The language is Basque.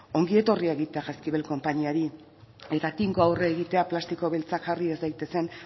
ongietorriak eta jaizkibel konpainiari eta tinko aurre egitea plastiko beltza jarri ez daitezen